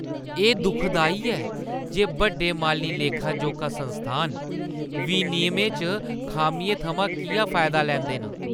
एह् दुखदाई ऐ जे बड्डे माली लेखा-जोखा संस्थान विनियमें च खामियें थमां किʼयां फायदा लैंदे न।